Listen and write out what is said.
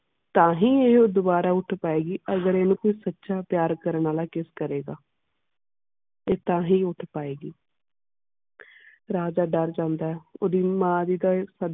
ਤਾਹਿ ਇਹ ਦੁਬਾਰਾ ਉੱਠ ਪਾਏ ਗਈ ਅਗਰ ਖਿਨੁ ਸੱਚਾ ਪਿਆਰ ਕਰਨਾ ਆਲਾ kiss ਕਰੇ ਗਏ ਤੇ ਤਾਹਿ ਉੱਠ ਪਾਏ ਗਈ ਰਾਜਾ ਡਾਰ ਜਾਂਦਾ ਓਢਿ ਮਾਂ ਦੀ ਤੇ.